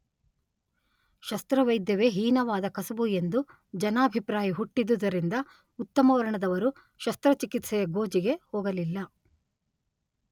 ಶಸ್ತ್ರವೈದ್ಯವೇ ಹೀನವಾದ ಕಸಬು ಎಂದು ಜನಾಭಿಪ್ರಾಯ ಹುಟ್ಟಿದುದರಿಂದ ಉತ್ತಮ ವರ್ಣದವರು ಶಸ್ತ್ರಚಿಕಿತ್ಸೆಯ ಗೋಜಿಗೆ ಹೋಗಲಿಲ್ಲ.